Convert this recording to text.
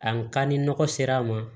A ka ni nɔgɔ sera a ma